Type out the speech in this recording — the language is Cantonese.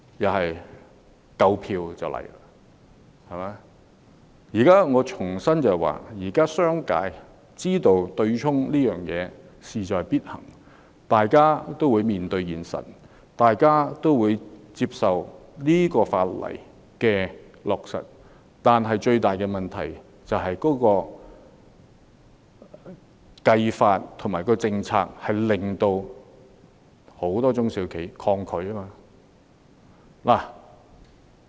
我要重申，現時商界知道取消對沖安排是勢在必行，所以會面對現實，接受有關法例的落實，但最大的問題是計算方法及政策令很多中小企抗拒。